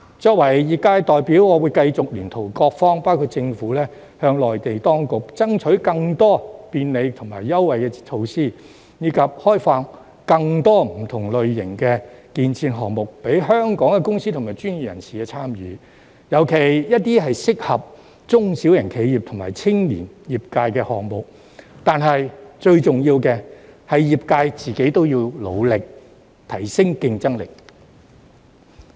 作為業界代表，我會繼續聯同各方包括政府，向內地當局爭取更多便利及優惠措施，以及開放更多不同類型的建設項目，供香港的公司及專業人士參與，尤其是一些適合中小型企業和青年業界人士的項目，但最重要的是業界要努力，提升競爭力。